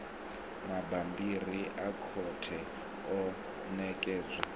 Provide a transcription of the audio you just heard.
mabammbiri a khothe o ṋekedzwa